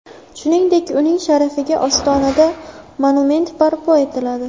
Shuningdek, uning sharafiga Ostonada monument barpo etiladi.